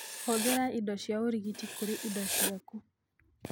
Hũthĩra indo cia ũgitĩri kũrĩ indo ciaku.